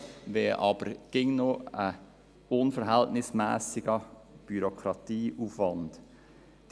sie wäre aber nach wie vor mit einem unverhältnismässigen Bürokratieaufwand verbunden.